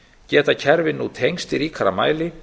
geta kerfin nú tengst í ríkara mæli